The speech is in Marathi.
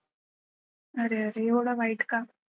अरे अरे एवढं वाईट का?